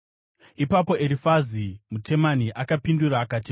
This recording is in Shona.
Ipapo Erifazi muTemani akapindura akati: